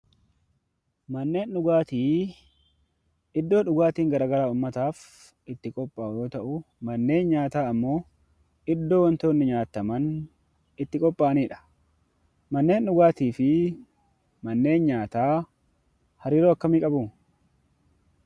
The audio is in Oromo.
Manneen dhugaatii iddoo djugaatiin garaa garaaf itti qophaa'uu yoo ta'u; manneen nyaataa immoo iddoo wantoonni nyaataman itti qopha'aanii dha. Manneen dhugaatii fi manneen nyaataa hariiroo akkamii qabuu?